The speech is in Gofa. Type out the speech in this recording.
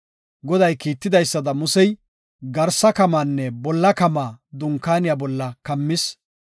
Goday kiitidaysada, Musey, garsa kamaanne bolla kamaa Dunkaaniya bolla kammis.